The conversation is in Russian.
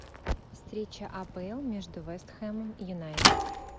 встреча апл между вест хэмом юнайтед